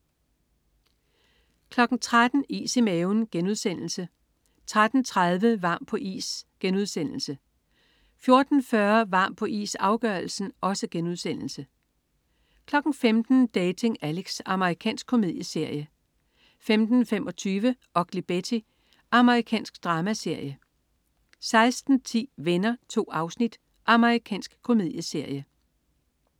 13.00 Is i maven* 13.30 Varm på is* 14.40 Varm på is, afgørelsen* 15.00 Dating Alex. Amerikansk komedieserie 15.25 Ugly Betty. Amerikansk dramaserie 16.10 Venner. 2 afsnit. Amerikansk komedieserie